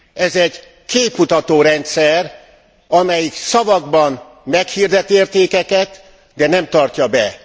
Ez egy képmutató rendszer, amelyik szavakban meghirdet értékeket, de nem tartja be.